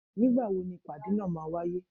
Ní gbàwó ni ìpàdé náá ma wàyé?